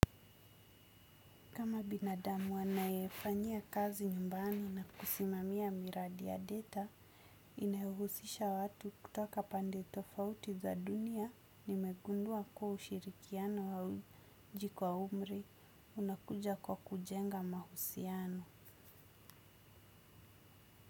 Kama binadamu anayefanyia kazi nyumbani na kusimamia miradi ya data, inayohuhusisha watu kutoka pande tofauti za dunia, nimegundua kuwa ushirikiano hauji kwa umri, unakuja kwa kujenga mahusiano.